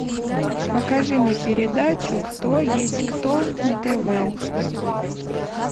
покажи мне передачу кто есть кто на тв